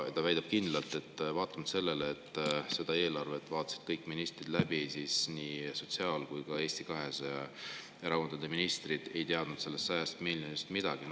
Ta väidab, et vaatamata sellele, et eelarve vaatasid läbi kõik ministrid, ei teadnud sotsiaal ja Eesti 200 ministrid sellest 100 miljonist midagi.